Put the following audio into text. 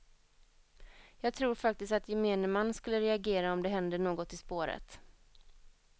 Jag tror faktiskt att gemene man skulle reagera om det händer något i spåret.